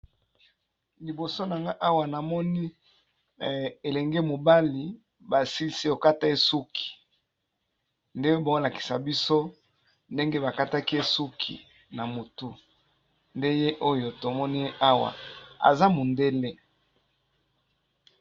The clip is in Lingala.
Liboso nanga awa namoni elenge mobali ba silisi kokata ye suki, nde bao lakisa biso ndenge ba kataki ye suki na motu nde ye oyo tomoni ye awa aza mundele.